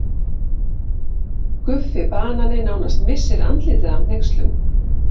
Guffi banani nánast missir andlitið af hneykslun.